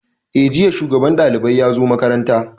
Eh, jiya shugaban ɗalibai ya zo makaranta